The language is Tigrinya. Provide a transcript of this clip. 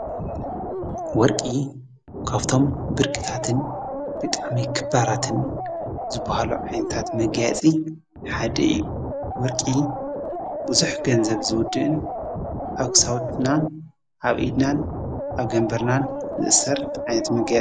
ወርቂ ካፍቶም ብርቂታትን ብጣም ክባራትን ዝብሃሉ ዓንታት መጊያጺ ሓድኢ ወርቂ ብዙኅ ገንዘብ ዝውድእን ኣውክሳውድናን ኣብ ኢድናን ኣብ ገምበርናን ዘእሠር ዓነት መገያይፂ እዩ።